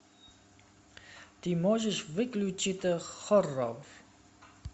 ты можешь включить хоррор